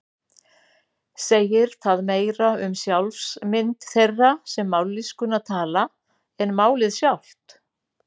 Segir það meira um sjálfsmynd þeirra sem mállýskuna tala en málið sjálft.